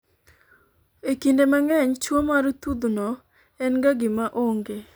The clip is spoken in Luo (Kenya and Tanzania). e kinde mang'eny tuo mar thudhno en ga gima onge